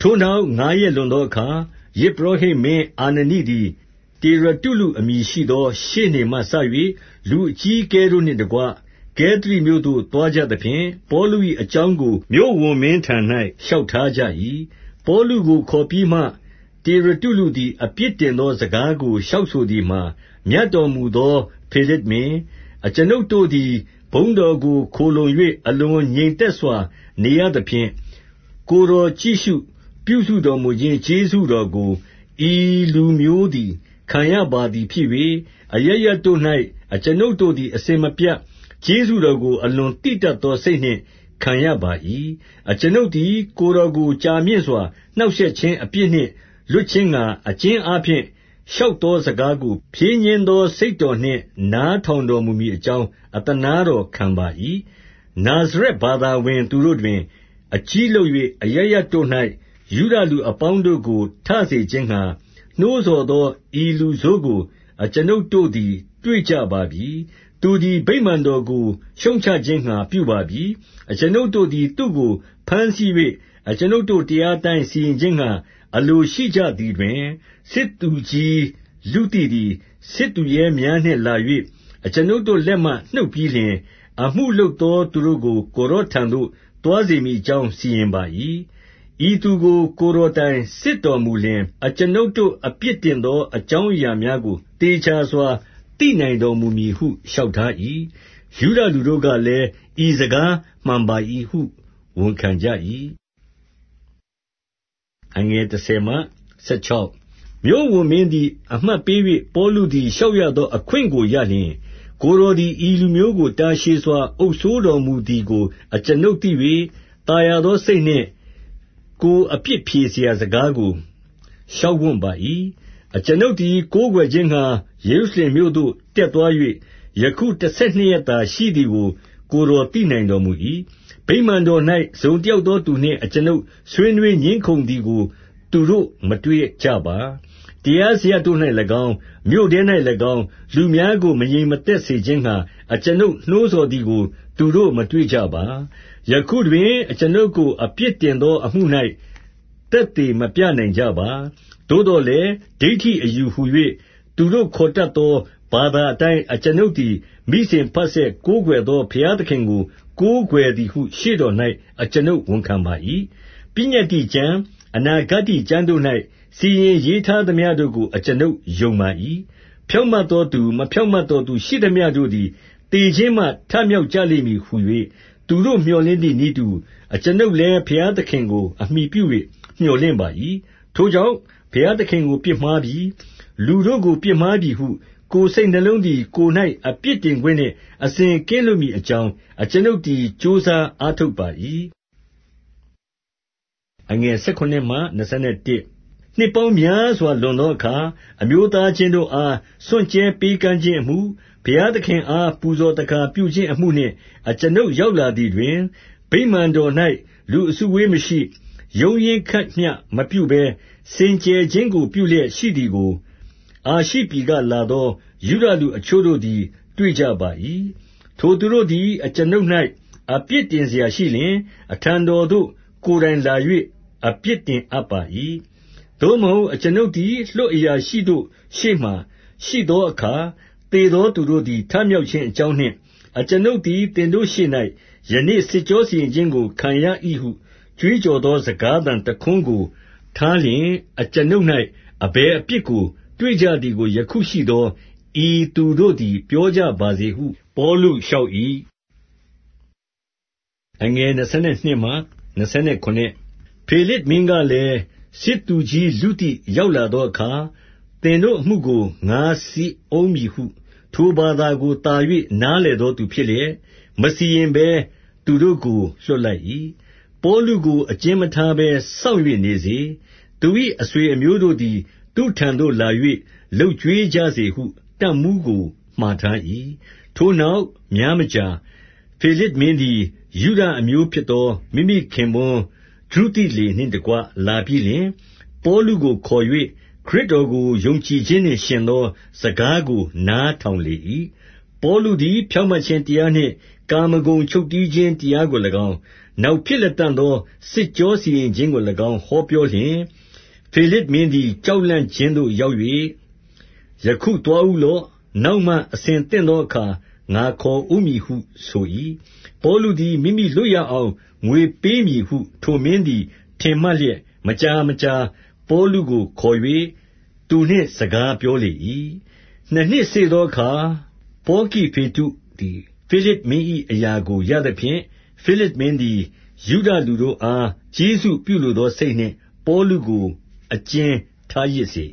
ထိုနောက် ငါးရက်လွန်သောအခါ၊ ယဇ်ပုရောဟိတ်မင်း အာနနိသည် တေရတုလုအမည်ရှိသော ရှေ့နေမှစ၍၊ လူအကြီးအကဲတို့နှင့်တကွ ကဲသရိမြို့သို့ သွားကြသဖြင့်၊ ပေါလု၏အကြောင်းကို မြို့ဝန်မင်းထံ၌ လျှောက်ထားကြ၏။ 2 ပေါလုကိုခေါ်ပြီးမှ၊ တေရတုလုသည် အပြစ်တင်သော စကားကိုလျှောက်ဆိုသည်မှာ၊ မြတ်တော်မူ သောဖေလဇ်မင်း၊ အကျွန်ုပ်တို့သည် ဘုန်းတော်ကို ခိုလှုံ၍ အလွန်ငြိမ်သက်စွာ နေရသဖြင့်၊ ကိုယ်တော် ကြည့်ရှု ပြုစုတော်မူခြင်း ကျေးဇူးတော်ကို ဤလူမျိုးသည် ခံရပါ သည်ဖြစ်၍၊ 3 အရပ်ရပ်တို့၌ အကျွန်ုပ်တို့သည် အစဉ်မပြတ် ကျေးဇူးတော်ကို အလွန်သိတတ်သော စိတ်နှင့်ခံရပါ၏။ 4 အကျွန်ုပ်သည် ကိုယ်တော်ကိုကြာမြင့်စွာ နှောင့်ရှက်ခြင်း အပြစ်နှင့်လွတ်ခြင်းငှါ၊ အကျဉ်းအားဖြင့် လျှောက်သောစကားကို ဖြည်းညှင်းသောစိတ်တော်နှင့် နားထောင်တော်မူမည်အကြောင်း အသနားတော်ခံပါ၏။ 5 နာဇရက်ဘာသာဝင်သူတို့တွင် အကြီးလုပ်၍ အရပ်ရပ်တို့၌ ယုဒလူအပေါင်းတို့ကို ထစေခြင်းငှါ နှိုးဆော်သော ဤလူဆိုးကို အကျွန်ုပ်တို့သည် တွေ့ကြပါပြီ။ 6 သူသည် ဗိမာန်တော်ကို ရှုတ်ချခြင်းငှါပြုပါပြီ။ အကျွန်ုပ်တို့သည် သူ့ကိုဘမ်းဆီး၍၊ အကျွန်ုပ်တို့ တရား အတိုင်းစီရင်ခြင်းငှါ အလိုရှိကြသည်တွင်၊ 7 စစ်သူကြီးလုသိသည် စစ်သူရဲများနှင့်လာ၍ အကျွန်ုပ်တို့ လက်မှနှုတ်ပြီးလျှင်၊ 8 အမှုလုပ်သောသူတို့ကို ကိုယ်တော်ထံသို့ သွားစေမည်အကြောင်း စီရင်ပါ၏။ ဤသူကို ကိုယ်တော်တိုင် စစ်တော်မူလျှင်၊ အကျွန်ုပ်တို့အပြစ်တင်သောအကြောင်း အရာများကို သေချာစွာ သိနိုင်တော်မူမည်ဟု လျှောက်ထား၏။ 9 ယုဒလူတို့ကလည်း၊ ဤစကားမှန်ပါသည်ဟု ဝန်ခံကြ၏။ 10 မြို့ဝန်မင်းသည် အမှတ်ပေး၍၊ ပေါလုသည် လျှောက်ရသော အခွင့်ကိုရလျှင်၊ ကိုယ်တော်သည် ဤလူမျိုးကို တာရှည်စွာအုပ်စိုးတော်မူသည်ကို အကျွန်ုပ် သိ၍၊ သာယာသောစိတ်နှင့်ကိုယ်အပြစ်ဖြေရာ စကားကို လျှောက်ဝံ့ပါ၏။ 11 အကျွန်ုပ်သည် ကိုးကွယ်ခြင်းငှါ ယေရုရှလင်မြို့ သို့ တက်သွား၍၊ ယခု တဆယ်နှစ်ရက်သာရှိသည်ကို ကိုယ်တော်သိနိုင်တော်မူ၏။ 12 ဗိမာန်တော်၌ တစုံတယောက်သောသူနှင့် အကျွန်ုပ် ဆွေးနွေးငြင်းခုံသည်ကို သူတို့မတွေ့ကြပါ။ တရားစရပ်တို့၌၎င်း၊ မြို့ထဲ၌၎င်း၊ လူများကို မငြိမ်မသက် စေခြင်းငှါ အကျွန်ုပ်နှိုးဆော်သည်ကို သူတို့မတွေ့ကြပါ။ 13 ယခုတွင်အကျွန်ုပ်ကို အပြစ်တင်သောအမှု၌ သက်သေမပြနိုင် ကြပါ။ 14 သို့သော်လည်း ဒိဌိအယူဟူ၍ သူတို့ခေါ်တတ် သော ဘာသာအတိုင်းအကျွန်ုပ်သည် မိစဉ်ဘဆက် ကိုးကွယ်သော ဘုရားသခင်ကို ကိုးကွယ်သည်ဟု ရှေ့တော်၌ အကျွန်ုပ်ဝန်ခံပါ၏။ ပညတ္တိကျမ်း၊ အနာဂတ္တိ ကျမ်းတို့၌ စီရင်ရေးထားသမျှတို့ကို အကျွန်ုပ်ယုံပါ၏။ 15 ဖြောင့်မတ်သောသူ၊ မဖြောင့်မတ်သော သူရှိ သမျှတို့သည် သေခြင်းမှ ထမြောက်ကြလိမ့်မည်ဟူ၍၊ သူကို့မြော်လင့်သည်နည်းတူ၊ အကျွန်ုပ်လည်း ဘုရား သခင်ကို အမှီပြု၍ မြော်လင့်ပါ၏။ 16 ထိုကြောင့်၊ ဘုရားသခင်ကိုပြစ်မှားပြီ၊ လူတို့ကို ပြစ်မှားပြီဟု ကိုယ်စိတ်နှလုံးသည်ကိုယ်၌ အပြစ်တင်ခွင့် နှင့် အစဉ်ကင်းလွတ်မည်အကြောင်း အကျွန်ုပ်သည် ကြိုးစားအားထုတ်ပါ၏။ 17 နှစ်ပေါင်းများစွာလွန်သောအခါ၊ အမျိုးသား ချင်းတို့အား စွန့်ကြဲပေးကမ်းခြင်းအမှု၊ ဘုရားသခင်အား ပူဇော်သက္ကာပြုခြင်းအမှုနှင့် အကျွန်ုပ်ရောက်လာသည် တွင်၊ 18 ဗိမာန်တော်၌ လူအစုအဝေးမရှိ၊ ရုန်းရင်းခတ် မျှမပြုဘဲ၊ စင်ကြယ်ခြင်းကိုပြုလျက်ရှိသည်ကို၊ အာရှိ ပြည်ကလာသောယုဒလူ အချို့တို့သည် တွေ့ကြပါ၏။ 19 ထိုသူတို့သည် အကျွန်ုပ်အပြစ်တင်စရာရှိလျှင်၊ အထံတော် သို့ကိုယ်တိုင်လာ၍အပြစ်တင်အပ်ပါ၏။ 20 သို့မဟုတ်အကျွန်ုပ်သည် လွှတ်အရာရှိတို့ ရှေ့မှာ ရှိသောအခါ၊ သေသောသူတို့သည် ထမြောက်ခြင်း အကြောင်းနှင့်၊ 21 အကျွန်ုပ်သည် သင်တို့ရှေ့၌ ယနေ့စစ်ကြော စီရင်ခြင်းကို ခံရ၏ဟုကြွေးကြော်သော စကားသံ တခွန်း ကိုထားလျှင်၊ အကျွန်ုပ်၌ အဘယ်အပြစ်ကို တွေ့ကြသည် ကို ယခုရှိသော ဤသူတို့သည် ပြောကြပါစေဟု ပေါလု လျှောက်၏။ 22 ဖေလဇ်မင်းကလည်း၊ စစ်သူကြီးလုသိ ရောက်လာသောအခါ၊ သင်တို့အမှုကို ငါစစ်ဦးမည်ဟု ထိုဘာသာကိုသာ၍ နားလည်သောသူဖြစ်လျက်၊ မစီရင် ဘဲ သူတို့ကို လွှတ်လိုက်၏။ 23 ပေါလုကို အကျဉ်းမထားဘဲစောင့်၍နေစေ။ သူ၏အဆွေအမျိုးတို့သည် သူ့ထံသို့လာ၍ လုပ်ကျွေး ကြစေဟု တပ်မှူးကိုမှာထား၏။ 24 ထိုနောက်များမကြာ၊ ဖေလဇ်မင်းသည် ယုဒ အမျိုးဖြစ်သော မိမိခင်ပွန်းဒြုသိလေနှင့် တကွလာပြီး လျှင်၊ ပေါလုကိုခေါ်၍ ခရစ်တော်ကို ယုံကြည်ခြင်းနှင့်ယှဉ် သော စကားကို နားထောင်လေ၏။ 25 ပေါလုသည် ဖြောင့်မတ်ခြင်းတရားနှင့် ကာမဂုဏ်ချုပ်တည်းခြင်း တရားကို၎င်း၊ နောက်ဖြစ်လတံ့သော စစ်ကြောစီရင်ခြင်းကို၎င်း ဟောပြောလျှင်၊ ဖေလဇ်မင်းသည် ကြောက်လန့်ခြင်းသို့ရောက်၍၊ ယခုသွားဦးလော့။ နောက်မှအဆင်သင့်သောအခါ ငါခေါ်ဦးမည်ဟု ဆို၏။ 26 ပေါလုသည် မိမိလွတ်ရအောင် ငွေပေးမည်ဟု ထိုမင်းသည်ထင်မှတ်လျက်၊ မကြာမကြာပေါလုကို ခေါ်၍ သူနှင့်စကားပြောလေ၏။ 27 နှစ်နှစ်စေ့သောအခါ ပေါကိဖေတ္တုသည် ဖေလဇ်မင်း၏အရာကို ရသဖြင့်၊ ဖေလဇ်မင်းသည် ယုဒ လူတို့အား ကျေးဇူးပြုလိုသောစိတ်နှင့် ပေါလုကို အကျဉ်းထားရစ်စေ